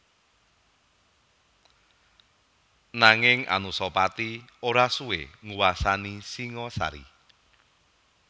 Nanging Anusapati ora suwé nguwasani Singasari